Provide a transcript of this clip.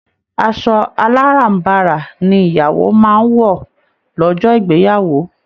Asọ aláràm̀barà ni ìyàwó máa ń wọ lọ́jọ́ ìgbeyàwó